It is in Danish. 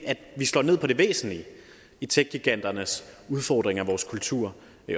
slår ned på det væsentlige i techgiganternes udfordring af vores kultur